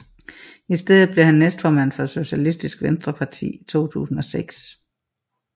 I stedet blev han næstformand for Sosialistisk Venstreparti i 2006